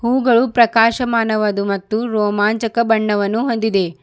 ಹೂಗಳು ಪ್ರಕಾಶಮಾನವಾದ ಮತ್ತು ರೋಮಾಂಚಕ ಬಣ್ಣವನ್ನು ಹೊಂದಿದೆ.